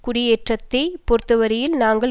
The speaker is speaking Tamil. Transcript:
குடியேற்றத்தை பொறுத்தவரையில் நாங்கள்